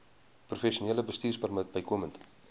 professionele bestuurpermit bykomend